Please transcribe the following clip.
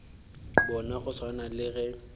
bona go swana le ge